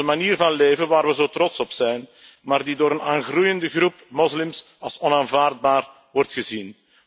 Onze manier van leven waar we zo trots op zijn maar die door een aangroeiende groep moslims als onaanvaardbaar wordt gezien.